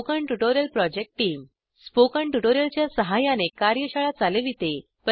spoken tutorial project team spoken tutorial च्या सहाय्याने कार्यशाळा चालविते